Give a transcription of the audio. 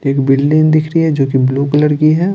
एक बिल्डिंग दिख रही है जो कि ब्लू कलर की है।